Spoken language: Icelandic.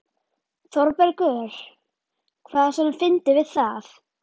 ÞÓRBERGUR: Hvað er svona fyndið við það?